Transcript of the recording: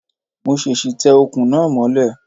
Mo ṣèṣì tẹ Ọ̀kùn náà mọ́lẹ̀